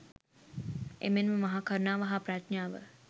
එමෙන්ම මහා කරුණාව හා ප්‍රඥාව